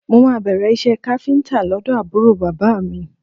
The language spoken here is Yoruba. Mo máa bẹ̀rẹ̀ iṣẹ́ káfíńtà lọ́dọ̀ àbúrò bàbá mi